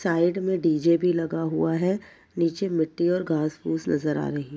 Side में DJ. भी लगा हुआ है। नीचे मिट्टी और घास फुस नजर आ रही --